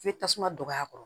I bɛ tasuma don a kɔrɔ